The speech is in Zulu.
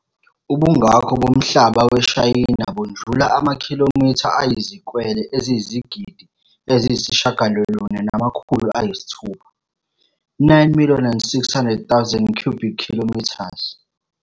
Ubungakho bomhlaba weShayina bundlula amakhilomitha ayizikwele eziyizigidi eziyisishiyagalolunye namakhulu ayisithupha, 9 600 000 km2.